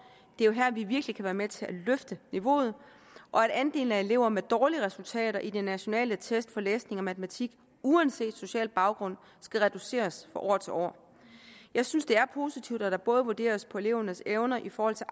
det er jo her vi virkelig kan være med til at løfte niveauet og at andelen af elever med dårlige resultater i de nationale test af læsning og matematik uanset social baggrund skal reduceres fra år til år jeg synes det er positivt at der både vurderes på elevernes evner i forhold til